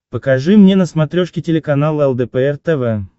покажи мне на смотрешке телеканал лдпр тв